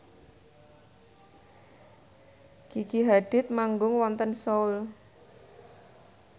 Gigi Hadid manggung wonten Seoul